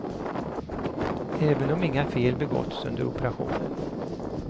Även om inga fel begåtts under operationen.